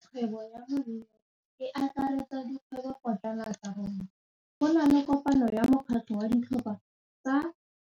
Kgwêbô ya malome wa me e akaretsa dikgwêbôpotlana tsa rona. Go na le kopanô ya mokgatlhô wa ditlhopha tsa